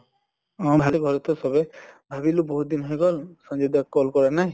অʼ ভালেই ঘৰত তো চবেই । ভাবিলো বহুত দিন হৈ গʼল, সঞ্জয় দা ক call কৰা নাই ।